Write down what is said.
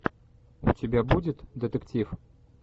у тебя будет детектив